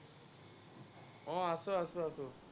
আহ আছো আছো।